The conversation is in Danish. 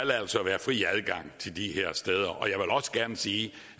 være fri adgang til de her steder det og jeg vil også gerne sige